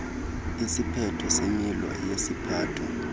isiphetho semilo yesiphatho